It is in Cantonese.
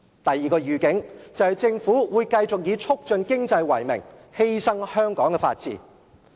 第二個預警，就是政府會繼續以促進經濟為名，犧牲香港的法治。